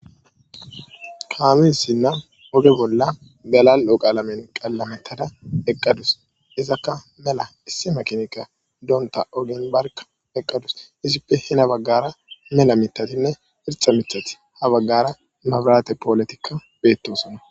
kaamissinna oge bolla galal7oqaalamen qallametada eqqadus izakka mela issi makinika doonta ogenbarka eqqadus izippe hina baggara mela mitatinne ircha mithath ha baggara mabrate pooletikka beettosona